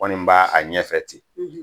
Kɔni b'a a ɲɛfɛ ten